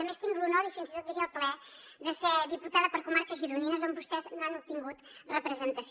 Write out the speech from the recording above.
a més tinc l’honor i fins i tot diria el plaer de ser diputada per comarques gironines on vostès no han obtingut representació